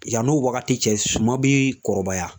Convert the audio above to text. Yan'o wagati cɛ suman bi kɔrɔbaya.